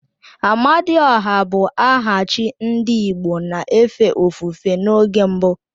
Amadiọha bụ aha chi ndị igbo na-efe ofufe n'oge mbu